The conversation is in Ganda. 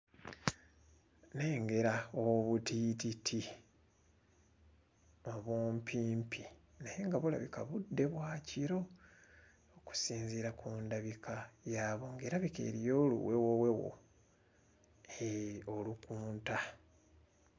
Nnengera obutiititi obumpimpi naye nga bulabika budde bwa kiro okusinziira ku ndabika yaabwo ng'erabika eriyo oluwewowewo eeh olukunta.